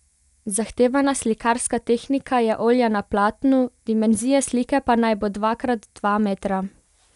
Zahtevana slikarska tehnika je olje na platnu, dimenzija slike pa naj bo dva krat dva metra.